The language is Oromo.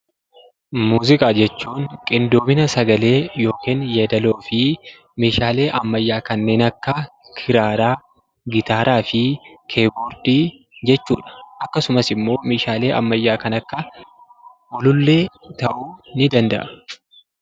Muuziqaa jechuun qindoomina sagalee yookiin yeedaĺloo fi meeshaalee ammayyaa kanneen akka kiraaraa, gitaaraa fi kiiboordii jechuudha. Akkasumas immoo meeshaalee ammayyaa kan akka ulullee ta'uu ni danda’a.